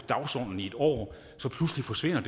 dagsordenen i en år pludselig forsvinder